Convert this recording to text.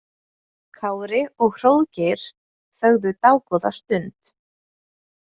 Kári og Hróðgeir þögðu dágóða stund.